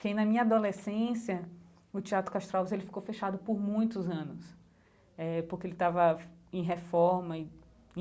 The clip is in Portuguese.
Que na minha adolescência o Teatro Castro Alves ele ficou fechado por muitos anos, eh porque ele estava em reforma e.